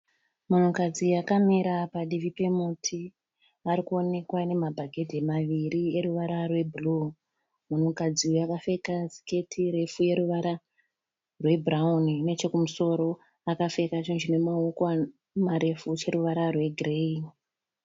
Munhukadzi akamira padivi pomuti. Ari kuonekwa nemabhaketi maviri oruvara rwe"blue". Munhukadzi uyu akapfeka siketi refu yoruvara rwebhurawuni nechekumusoro akapfeka chinhu chine maoko marefu choruvara rwegireyi.